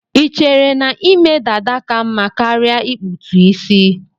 Ichere na ime dada ka mma karia ikputu isi